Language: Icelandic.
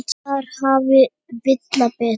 Þar hafði Villa betur.